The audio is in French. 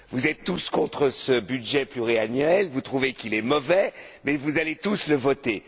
Vous êtes tous contre ce budget pluriannuel, vous trouvez qu'il est mauvais, mais vous allez tous le voter.